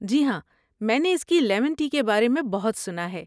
جی ہاں، میں نے اس کی لیمن ٹی کے بارے میں بہت سنا ہے۔